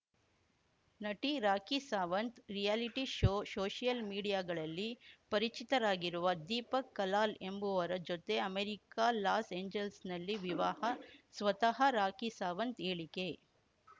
ನಟಿ Rakhi Sawant reality show social ಮೀಡಿಯಾಗಳಲ್ಲಿ ಪರಿಚಿತರಾಗಿರುವ ದೀಪಕ್‌ ಕಲಾಲ್‌ ಎಂಬುವರ ಜೊತೆ ಅಮೆರಿಕ ಲಾಸ್‌ ಏಂಜೆಲ್ಸ್ ನಲ್ಲಿ ವಿವಾಹ ಸ್ವತಃ ರಾಖಿ ಸಾವಂತ್‌ ಹೇಳಿಕೆ